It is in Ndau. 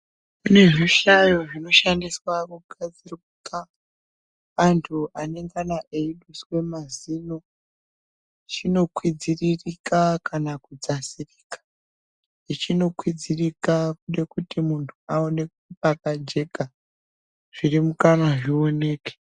Kune zvihlayo zvinoshandiswa kuhlamburuka vantu vanenge eiduswabmazino chinoduswa kana kudzaswa ichi chinokwidzirika nekuti aone pakacheka zvione kuti.